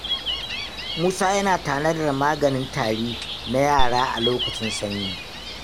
Musa yana tanadar maganin tari na yara a lokacin sanyi.